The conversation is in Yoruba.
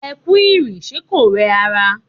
Ẹ kú ìrìn, ṣe kò rẹ ara?